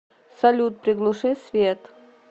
салют приглуши свет